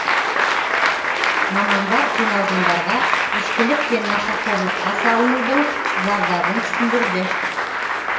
мамандар жиналғандарға ішкілік пен нашақорлыққа салынудың зардабын түсіндірді